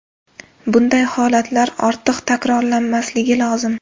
Bunday holatlar ortiq takrorlanmasligi lozim.